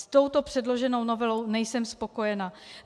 S touto předloženou novelou nejsem spokojena.